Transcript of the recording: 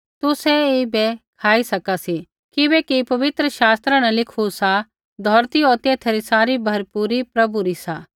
तुसै ऐईबै खाई सका सी किबैकि पवित्र शास्त्रा न लिखू सा धौरती होर तेथा री सारी भरपूरी प्रभु री सा